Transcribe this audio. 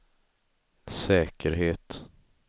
säkerhet